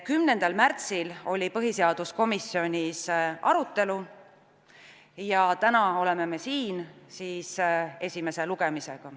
10. märtsil oli põhiseaduskomisjonis arutelu ja täna oleme me siin esimesel lugemisel.